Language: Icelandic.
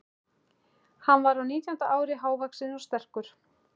Hann var á nítjánda ári, hávaxinn og sterkur.